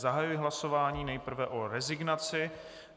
Zahajuji hlasování nejprve o rezignaci.